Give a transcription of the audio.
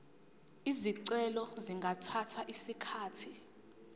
izicelo zingathatha isikhathi